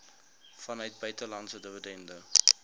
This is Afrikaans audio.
vanuit buitelandse dividende